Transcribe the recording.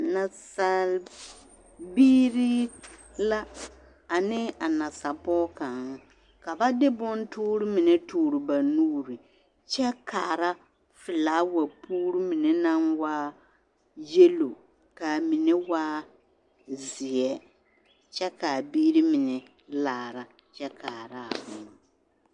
Nasal biiri la ane a nasa pɔge kaŋ ka ba de bontoore mine toore ba nuuri kyɛ kaara felaawa puuri mine naŋ waa yelo k'a mine waa zeɛ kyɛ k'a biiri mine laara kyɛ kaaraa boma.